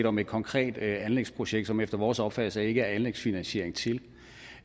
om et konkret anlægsprojekt som der efter vores opfattelse ikke er anlægsfinansiering til